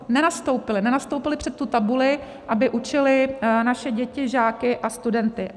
Nenastoupili před tu tabuli, aby učili naše děti, žáky a studenty.